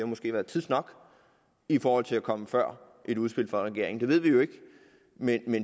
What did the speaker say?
måske været tids nok i forhold til at komme før et udspil fra regeringen det ved vi jo ikke men